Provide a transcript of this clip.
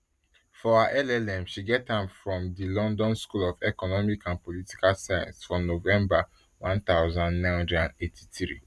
for her llm she get am from di london school of economic and political science for november one thousand, nine hundred and eighty-three